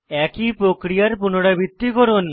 একই প্রক্রিয়ার পুনরাবৃত্তি করুন